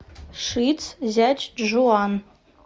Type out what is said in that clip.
шицзячжуан